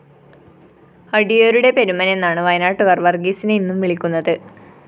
അടിയോരുടെ പെരുമനെന്നാണ് വയനാട്ടുകാര്‍ വര്‍ഗീസിനെ ഇന്നും വിളിക്കുന്നത്